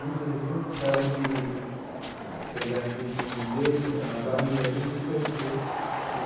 Muito sorridente, e gostava de pegar, assim, com o dedo a barriga da gente e torcer né.